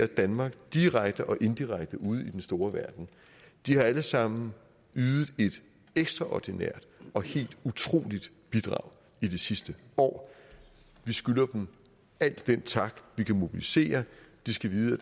danmark direkte og indirekte ude i den store verden har alle sammen ydet et ekstraordinært og helt utroligt bidrag i det sidste år vi skylder dem al den tak vi kan mobilisere de skal vide